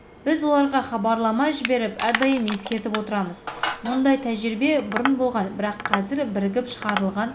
біз оларға хабарлама жіберіп әрдайым ескертіп отырамыз мұндай тәжірибе бұрын болған бірақ қазір бірігіп шығарылған